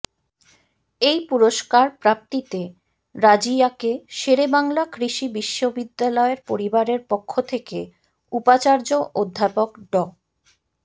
এই পুরস্কার প্রাপ্তিতে রাজিয়াকে শেরেবাংলা কৃষি বিশ্ববিদ্যালয়ের পরিবারের পক্ষ থেকে উপাচার্য অধ্যাপক ড